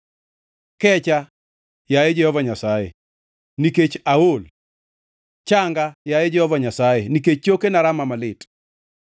Kecha, yaye Jehova Nyasaye, nikech aol; changa, yaye Jehova Nyasaye, nikech chokena rama malit.